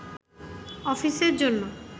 অফিসের জন্য